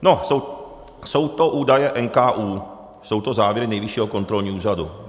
No, jsou to údaje NKÚ, jsou to závěry Nejvyššího kontrolního úřadu.